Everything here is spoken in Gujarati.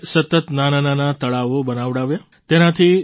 તેમણે સતત નાનાંનાનાં તળાવો બનાવડાવ્યાં